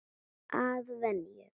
Að venju.